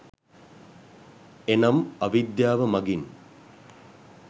එනම් අවිද්‍යාව මඟින්